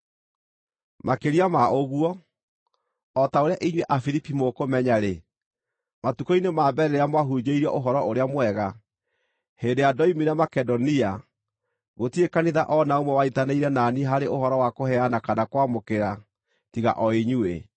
Makĩria ma ũguo, o ta ũrĩa inyuĩ andũ Afilipi mũkũmenya-rĩ, matukũ-inĩ ma mbere rĩrĩa mwahunjĩirio Ũhoro-ũrĩa-Mwega, hĩndĩ ĩrĩa ndoimire Makedonia, gũtirĩ kanitha o na ũmwe wanyiitanĩire na niĩ harĩ ũhoro wa kũheana kana kwamũkĩra, tiga o inyuĩ;